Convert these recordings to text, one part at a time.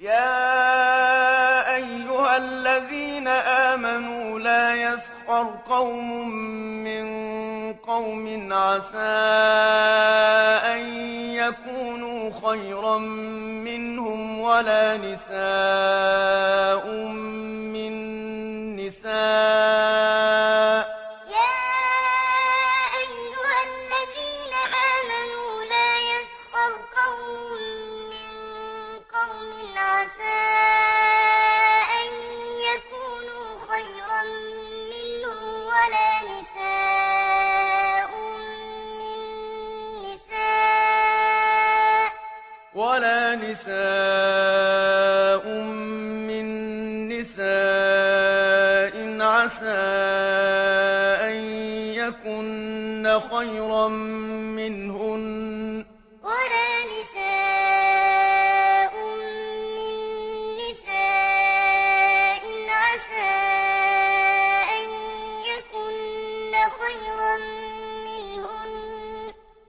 يَا أَيُّهَا الَّذِينَ آمَنُوا لَا يَسْخَرْ قَوْمٌ مِّن قَوْمٍ عَسَىٰ أَن يَكُونُوا خَيْرًا مِّنْهُمْ وَلَا نِسَاءٌ مِّن نِّسَاءٍ عَسَىٰ أَن يَكُنَّ خَيْرًا مِّنْهُنَّ ۖ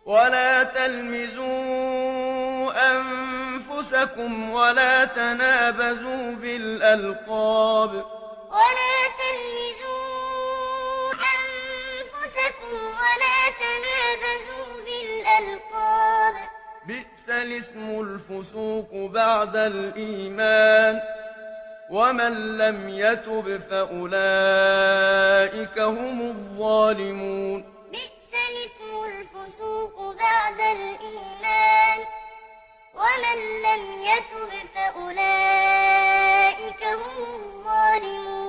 وَلَا تَلْمِزُوا أَنفُسَكُمْ وَلَا تَنَابَزُوا بِالْأَلْقَابِ ۖ بِئْسَ الِاسْمُ الْفُسُوقُ بَعْدَ الْإِيمَانِ ۚ وَمَن لَّمْ يَتُبْ فَأُولَٰئِكَ هُمُ الظَّالِمُونَ يَا أَيُّهَا الَّذِينَ آمَنُوا لَا يَسْخَرْ قَوْمٌ مِّن قَوْمٍ عَسَىٰ أَن يَكُونُوا خَيْرًا مِّنْهُمْ وَلَا نِسَاءٌ مِّن نِّسَاءٍ عَسَىٰ أَن يَكُنَّ خَيْرًا مِّنْهُنَّ ۖ وَلَا تَلْمِزُوا أَنفُسَكُمْ وَلَا تَنَابَزُوا بِالْأَلْقَابِ ۖ بِئْسَ الِاسْمُ الْفُسُوقُ بَعْدَ الْإِيمَانِ ۚ وَمَن لَّمْ يَتُبْ فَأُولَٰئِكَ هُمُ الظَّالِمُونَ